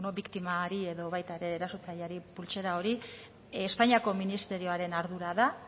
biktimari edo baita ere erasotzaileari pultsera hori espainiako ministerioaren ardura da